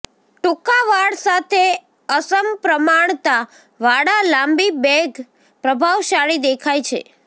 ટૂંકા વાળ સાથે અસમપ્રમાણતાવાળા લાંબી બેંગ પ્રભાવશાળી દેખાય છે